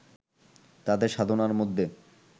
তাঁদের সাধনার মধ্যে